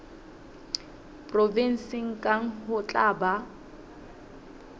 provenseng kang ho tla ba